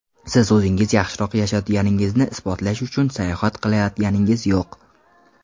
Siz o‘zingiz yaxshiroq yashayotganingizni isbotlash uchun sayohat qilayotganingiz yo‘q.